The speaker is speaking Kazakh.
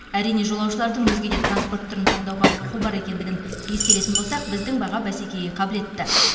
әрине жолаушылардың өзге де транспорт түрін таңдауға құқы бар екендігін ескеретін болсақ біздің баға бәсекеге қабілетті